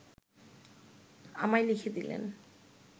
আমায় লিখে দিলেন